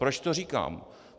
Proč to říkám?